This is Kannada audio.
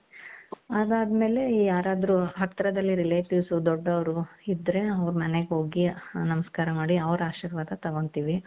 ಅದಾದ್ಮೇಲೆ ಯಾರಾದ್ರು ಹತ್ರದಲ್ಲೇ relatives ದೊಡ್ಡವರು ಇದ್ರೆ ಅವರ ಮನೆಗೆ ಹೋಗಿ ನಮಸ್ಕಾರ ಮಾಡಿ ಅವರ ಆಶೀರ್ವಾದ ತಗೊಳ್ತೀವಿ.